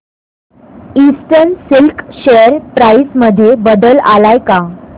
eastern Silk share price मध्ये बदल आलाय का